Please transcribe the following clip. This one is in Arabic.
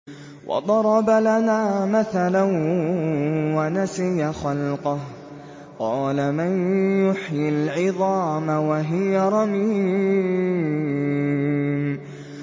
وَضَرَبَ لَنَا مَثَلًا وَنَسِيَ خَلْقَهُ ۖ قَالَ مَن يُحْيِي الْعِظَامَ وَهِيَ رَمِيمٌ